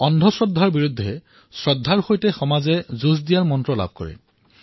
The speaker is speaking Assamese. অন্ধ শ্ৰদ্ধাৰ বিৰুদ্ধে শ্ৰদ্ধাৰ সৈতে সমাজে যুঁজিবলৈ সমাজে শক্তি প্ৰাপ্ত কৰে